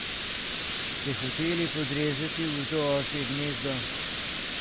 Ste hoteli podrezati v to osje gnezdo?